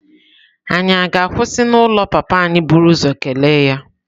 Ànyị ga-akwụsị n'ụlọ papa anyị buru ụzọ kelee ya?